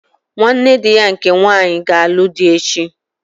Nwanne dị ya nke nwanyị ga-alụ dị echi.